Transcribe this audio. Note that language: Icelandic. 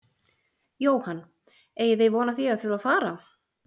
Jóhann: Eigið þið von á því að þurfa fara?